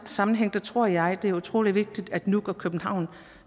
sammenhæng tror jeg det er utrolig vigtigt at nuuk og københavn